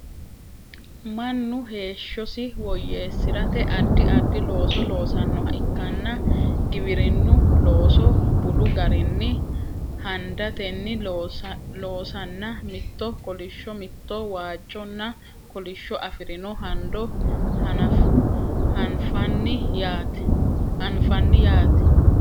mannu heeshshosi woyyeessirate addi addi looso loosannoha ikkanna giwirinnu looso budu garinni handatenni loosanna mitto kolishsho mitto waajjonna kolishsho afirino hando anfanni yaate